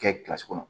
Kɛ kɔnɔ